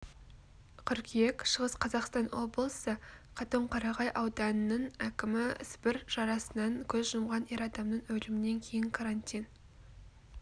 қыркүйек шығыс қазақстан облысы қатон-қарағай ауданының әкімі сібір жарасынан көз жұмған ер адамның өлімінен кейін карантин